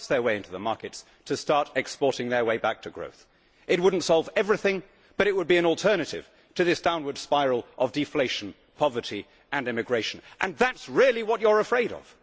To price their way into the markets, to start exporting their way back to growth. It would not solve everything, but it would be an alternative to this downward spiral of deflation, poverty and emigration and that is really what you are afraid of.